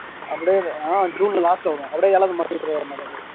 அப்படியே ஆஹ் ஜுன்ல last ல வருவோம் அப்படியே ஏழாவது மாசம்